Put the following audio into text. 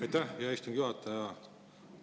Aitäh, hea istungi juhataja!